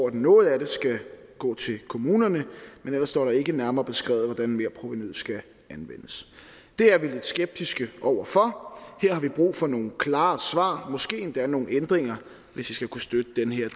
at noget af det skal gå til kommunerne men ellers står der ikke nærmere beskrevet hvordan merprovenuet skal anvendes det er vi lidt skeptiske over for og her har vi brug for nogle klare svar måske endda nogle ændringer hvis vi skal kunne støtte den her